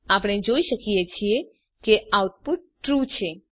આપણે જોઈ શકીએ છીએ કે આઉટપુટ ટ્રૂ છે